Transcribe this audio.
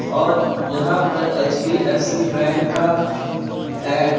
और यहां पर एच_डी_एफ_सी बैंक का ऐड है।